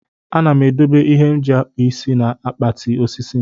Ana m edobe ihe m ji akpụ isi na akpati osisi m.